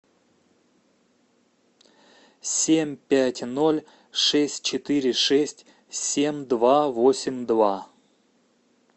семь пять ноль шесть четыре шесть семь два восемь два